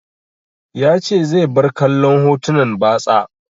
Ya ce zai bar kallon hotunan batsa.